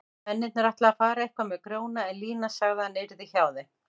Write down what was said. Mennirnir ætluðu að fara eitthvað með Grjóna en Lína sagði að hann yrði hjá þeim.